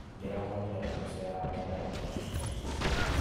Ndĩramonĩre magĩceranga barabara-inĩ